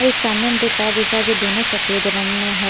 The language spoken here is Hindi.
एक सामने हम दो कार दिख रहा है जो दोनों सफेद रंग में है।